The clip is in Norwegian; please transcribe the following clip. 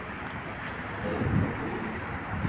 Øyvind Nordby